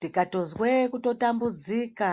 Tikatozwe kutotambudzika